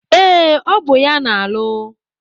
Ee, ọ bụ ya na-alụ.